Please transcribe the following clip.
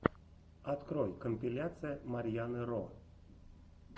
открой компиляция марьяны ро